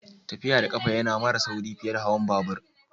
Tafiya da kafa ya na mara sauri fiye da hawan labur.